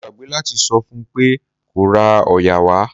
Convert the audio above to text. Mo gbàgbé láti sọ fún pé kó ra òòyà wá.